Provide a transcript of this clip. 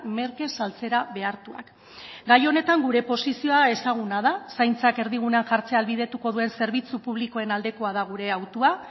merke saltzera behartuak gai honetan gure posizioa ezaguna da zaintzak erdigunean jartzea ahalbidetuko duen zerbitzu publikoen aldekoa da gure autua